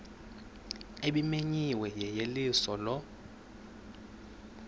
ebimenyiwe yeyeliso lo